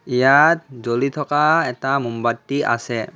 ইয়াত জ্বলি থকা এটা মম বাতি আছে।